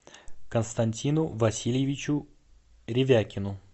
константину васильевичу ревякину